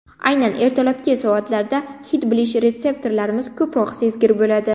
Aynan ertalabki soatlarda hid bilish retseptorlarimiz ko‘proq sezgir bo‘ladi.